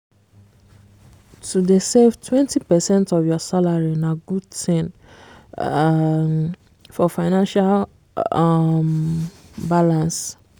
to dey save 20 percent of your salary na good thing um for financial um balance